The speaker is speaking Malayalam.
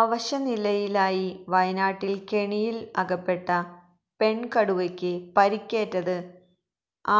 അവശനിലയിലായി വയനാട്ടില് കെണിയില് അകപ്പെട്ട പെണ്കടുവയ്ക്ക് പരിക്കേറ്റത്